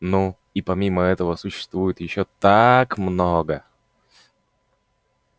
ну и помимо этого существует ещё так много